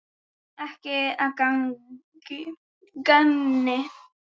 Ekkert að gagni.